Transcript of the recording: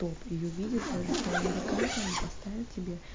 топ и увидит даже два американца они поставит тебе